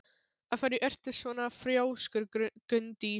Af hverju ertu svona þrjóskur, Gunndís?